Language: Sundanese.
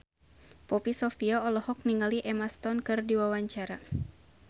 Poppy Sovia olohok ningali Emma Stone keur diwawancara